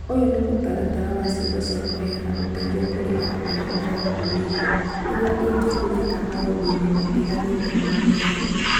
Ũyũ nĩ mũtaratara wa ciugo cia kũheana ũteithio kũrĩ andũ arĩa marakũũrĩrũo, iria ingĩhũthĩka maũndũ-inĩ matiganĩte ma mĩario